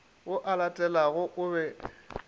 ao a latelanago o be